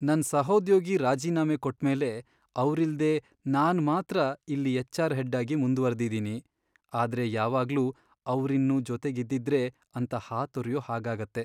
ನನ್ ಸಹೋದ್ಯೋಗಿ ರಾಜೀನಾಮೆ ಕೊಟ್ಮೇಲೆ ಅವ್ರಿಲ್ದೇ ನಾನ್ ಮಾತ್ರ ಇಲ್ಲಿ ಎಚ್.ಆರ್. ಹೆಡ್ಆಗಿ ಮುಂದ್ವರ್ದಿದೀನಿ, ಆದ್ರೆ ಯಾವಾಗ್ಲೂ ಅವ್ರಿನ್ನೂ ಜೊತೆಗಿದ್ದಿದ್ರೇ ಅಂತ ಹಾತೊರ್ಯೋ ಹಾಗಾಗತ್ತೆ.